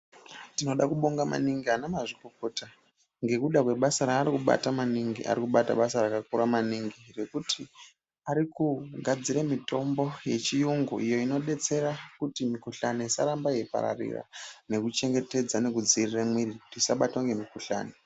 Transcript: Tinoda kubonga maningi anamazvikokota ngekuda kwebasa raari kubata maningi, arikubata basa rakakura maningi ngekuti ari kugadzire mitombo yechiyungu iyi inodetsera kuti mikhuhlani isarambe yeipararira nekuchengetedza nekudzivirire muiri kuti isabatwe ngemikhuhlani.